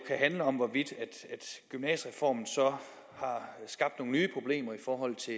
handle om hvorvidt gymnasiereformen så har skabt nogle nye problemer i forhold til